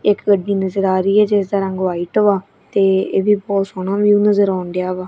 ਇੱਕ ਗੱਡੀ ਨਜ਼ਰ ਆ ਰਹੀ ਐ ਜਿਸ ਦਾ ਰੰਗ ਵਾਈਟ ਵਾ ਤੇ ਇਹ ਵੀ ਬਹੁਤ ਸੋਹਣਾ ਵਿਊ ਨਜ਼ਰ ਆਉਣ ਡਿਆ ਵਾ।